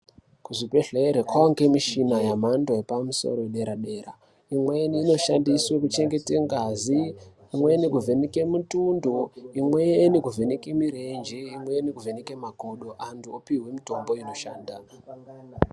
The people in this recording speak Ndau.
Ku zvibhedhleri kwange mushini ye mhando yepa musoro ye dera dera imweni ino shandiswe ku chengete ngazi imweni ku vheneke mutondo imweni ku vheneke mirenje imweni kuvheneke makodo antu opihwe mitombo inoshanda.